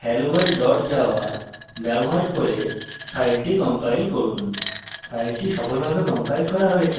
javac space helloworld dot java ব্যবহার করে file compile করুন